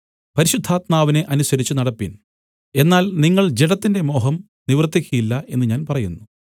പരിശുദ്ധാത്മാവിനെ അനുസരിച്ചുനടപ്പിൻ എന്നാൽ നിങ്ങൾ ജഡത്തിന്റെ മോഹം നിവർത്തിയ്ക്കയില്ല എന്നു ഞാൻ പറയുന്നു